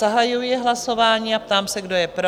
Zahajuji hlasování a ptám se, kdo je pro?